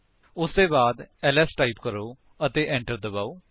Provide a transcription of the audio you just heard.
ਉਸਦੇ ਬਾਅਦ L S type ਕਰੋ ਅਤੇ enter ਦਬਾਓ